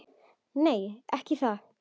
Nei, ekki það.